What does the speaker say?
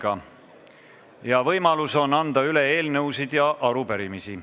Nüüd on võimalus anda üle eelnõusid ja arupärimisi.